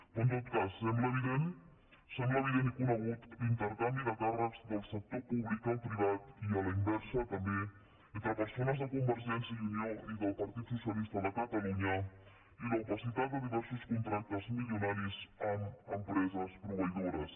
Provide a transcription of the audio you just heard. però en tot cas sembla evident i conegut l’intercanvi de càrrecs del sector públic al privat i a la inversa també entre persones de convergència i unió i del partit socialista de catalunya i l’opacitat de diversos contractes milionaris amb empreses proveï dores